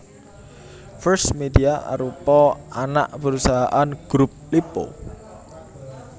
First Media arupa anak perusahaan Grup Lippo